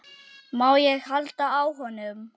Má ég halda á honum?